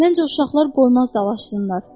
Məncə o uşaqlar qoymaz dalaşsınlar.